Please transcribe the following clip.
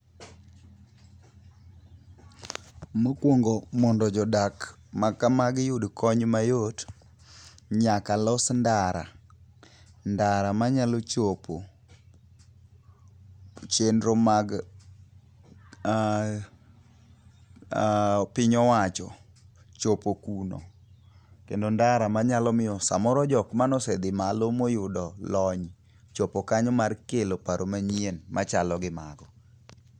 Mokwongo mondo jodak makamagi yud kony mayot, nyaka los ndara. Ndara manyalo chopo chenro mag piny owacho chopo kuno. Kendi ndara manyalo miyo samoro jok manosedhi malo moyudo lony chopo kanyo mar kelo paro manyien machalo gi mago.